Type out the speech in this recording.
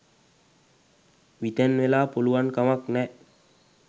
විතැන් වෙලා පුලුවන් කමක් නෑ